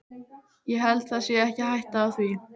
Ég held það sé ekki hætta á því.